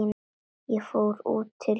Ég fór út til bæna.